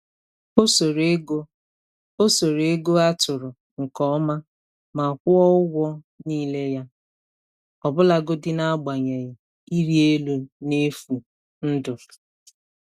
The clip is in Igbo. Ọ soro ego Ọ soro ego a tụrụ nke ọma ma kwụọ ụgwọ niile ya, ọbụlagodi n’agbanyeghị ịrị elu n’efu ndụ.